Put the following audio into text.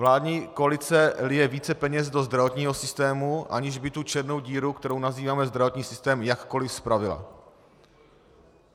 Vládní koalice lije více peněz do zdravotního systému, aniž by tu černou díru, kterou nazýváme zdravotní systém, jakkoliv spravila.